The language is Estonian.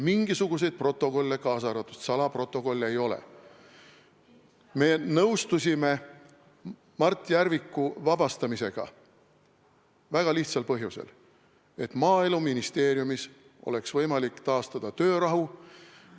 Me nõustusime Mart Järviku vabastamisega väga lihtsal põhjusel: et Maaeluministeeriumis oleks võimalik taastada töörahu.